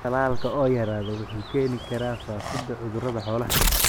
Tallaalka oo yaraada wuxuu keeni karaa faafidda cudurrada xoolaha.